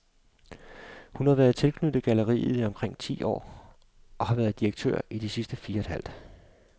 Hun har været tilknyttet galleriet i omkring ti år, og har været direktør i de sidste fire et halvt.